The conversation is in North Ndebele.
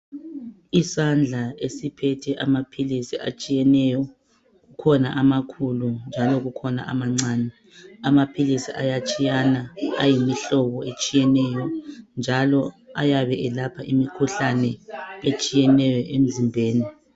Isandla esiphethe amaphilisi atshiyeneyo ,kukhona amancane kukhona amakhulu, asebenza ngendlela ezitsheyeneyo ngendlela udokotela ayabe echaze ngayo.